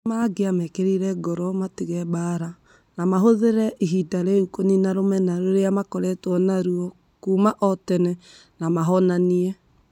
Nĩ mangĩamekĩrire ngoro matige mbaara na mahũthĩre ihinda rĩu kũniina rũmena rũrĩa makoretwo narĩo kuuma o tene na mohanĩre.